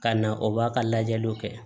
Ka na o b'a ka lajɛliw kɛ